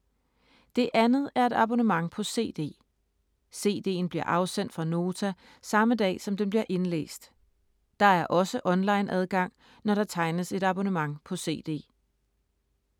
Det andet er et abonnement på CD. CD’en bliver afsendt fra Nota samme dag som den bliver indlæst. Der er også onlineadgang, når der tegnes et abonnement på CD.